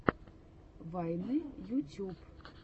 вайны ютюб